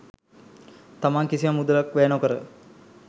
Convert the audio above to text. තමන් කිසිම මුදලක් වැය නොකර